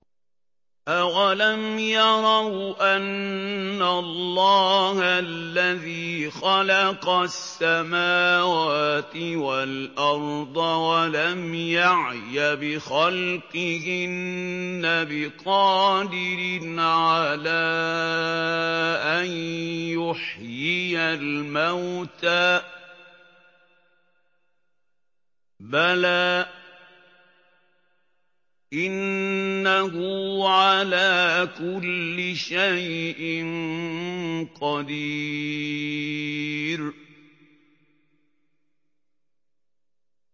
أَوَلَمْ يَرَوْا أَنَّ اللَّهَ الَّذِي خَلَقَ السَّمَاوَاتِ وَالْأَرْضَ وَلَمْ يَعْيَ بِخَلْقِهِنَّ بِقَادِرٍ عَلَىٰ أَن يُحْيِيَ الْمَوْتَىٰ ۚ بَلَىٰ إِنَّهُ عَلَىٰ كُلِّ شَيْءٍ قَدِيرٌ